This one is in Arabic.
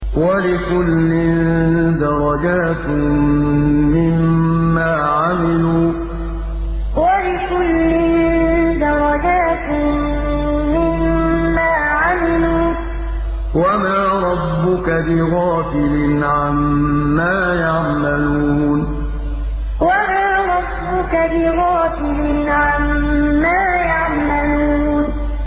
وَلِكُلٍّ دَرَجَاتٌ مِّمَّا عَمِلُوا ۚ وَمَا رَبُّكَ بِغَافِلٍ عَمَّا يَعْمَلُونَ وَلِكُلٍّ دَرَجَاتٌ مِّمَّا عَمِلُوا ۚ وَمَا رَبُّكَ بِغَافِلٍ عَمَّا يَعْمَلُونَ